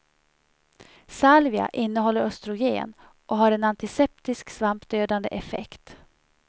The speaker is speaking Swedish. Salvia innehåller östrogen och har en antiseptisk svampdödande effekt.